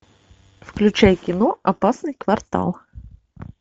включай кино опасный квартал